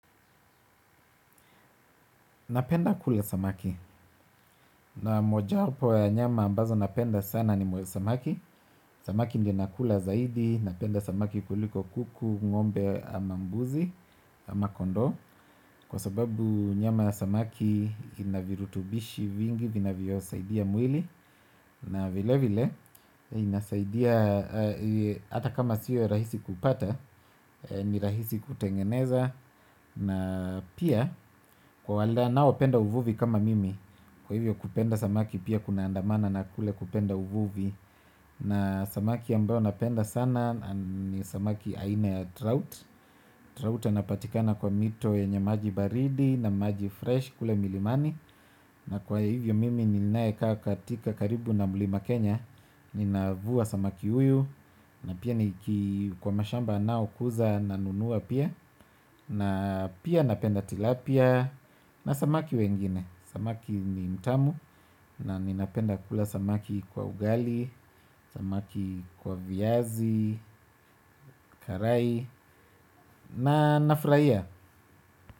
Napenda kula samaki, na moja wapo ya nyama ambazo napenda sana ni moja samaki. Samaki ndi nakula zaidi, napenda samaki kuliko kuku, ngombe ama mbuzi, ama kondoo. Kwa sababu nyama ya samaki ina virutubishi vingi, vinavyosaidia mwili. Na vilevile, inasaidia hata kama sio rahisi kupata, ni rahisi kutengeneza. Na pia kwa wale wanaopenda uvuvi kama mimi. Kwa hivyo kupenda samaki pia kunaandamana na kule kupenda uvuvi. Na samaki ambao napenda sana ni samaki aina ya trout Trout anapatikana kwa mito yenye maji baridi na maji fresh kule milimani. Na kwa hivyo mimi ninaekaa katika karibu na mlima Kenya. Ninavua samaki huyu. Na pia ni kwa mashamba yanaokuza nanunua pia. Na pia napenda tilapia. Na samaki wengine samaki ni mtamu. Na ninapenda kula samaki kwa ugali. Samaki kwa viazi. Karai. Na nafurahia.